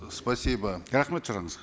спасибо рахмет сұрағыңызға